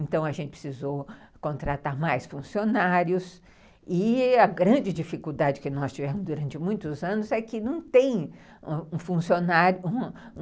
Então a gente precisou contratar mais funcionários e a grande dificuldade que nós tivemos durante muitos anos é que não tem um funcionário